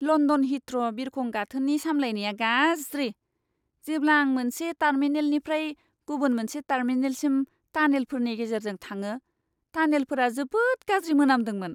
London Heathrow बिरखं गाथोननि सामलायनाया गाज्रि। जेब्ला आं मोनसे टार्मिनेलनिफ्राय गुबुन मोनसे टार्मिनेलसिम टानेलफोरनि गेजेरजों थांङो, टानेलफोरा जोबोद गाज्रि मोनामदोंमोन!